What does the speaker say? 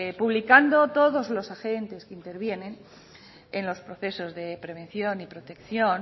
publicando todos los agentes que intervienen en los procesos de prevención y protección